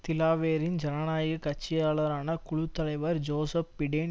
திலாவேரின் ஜனநாயக கட்சியாளரான குழு தலைவர் ஜோசப் பிடேன்